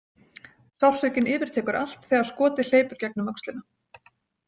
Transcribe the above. Sársaukinn yfirtekur allt þegar skotið hleypur gegnum öxlina.